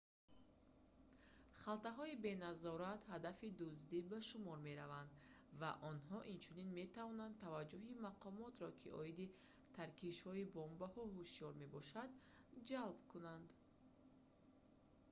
халтаҳои беназорат ҳадафи дуздӣ ба шумор мераванд ва онҳо инчунин метавонанд таваҷҷуҳи мақомотро ки оиди таркишҳои бомбаҳо ҳушёр мебошанд ҷалб кунанд